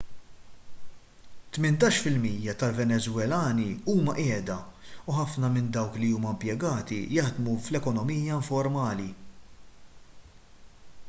tmintax fil-mija tal-venezwelani huma qiegħda u ħafna minn dawk li huma impjegati jaħdmu fl-ekonomija informali